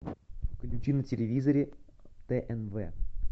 включи на телевизоре тнв